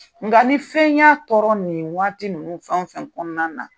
Nka ni fɛn y'a tɔɔrɔ nin waati ninnu fɛn o fɛn kɔnɔna na